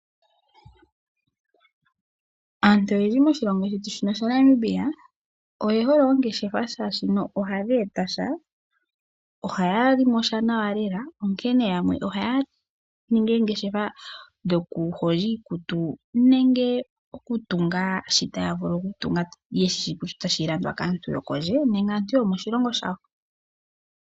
Aantu oyendji moshilongo shetu shino sha Namibia oye hole ongeshafa shaashi ohadhi etasha. Ohaya limo sha nawa lela onkene yamwe ohaya ningi eengeshefa dhoku hondja iikutu nenge okutunga shoka taya vulu okutunga yeshishi kutya otashi landwa kaantu yokondje nenge aantu yomoshilongo shawo.